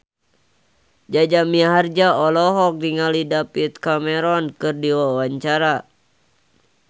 Jaja Mihardja olohok ningali David Cameron keur diwawancara